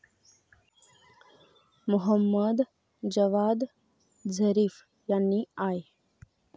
Mohammed Javad Zarif यांनी I.